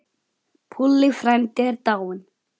Púlli frændi er dáinn.